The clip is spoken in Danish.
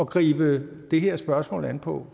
gribe det her spørgsmål an på